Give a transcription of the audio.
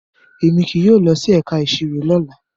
Emi kii yóò lọ si ẹka iṣiro lola